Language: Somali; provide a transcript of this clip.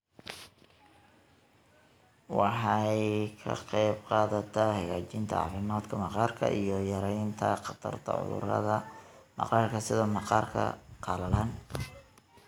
Waxay ka qaybqaadataa hagaajinta caafimaadka maqaarka iyo yaraynta khatarta cudurrada maqaarka sida maqaarka qalalan.